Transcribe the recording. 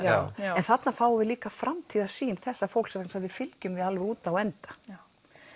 já en þarna fáum við líka framtíðarsýn þessa fólks sem við fylgjum alveg út á enda já